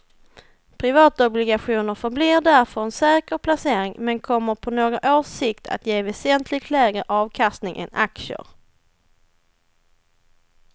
Privatobligationer förblir därför en säker placering men kommer på några års sikt att ge väsentligt lägre avkastning än aktier.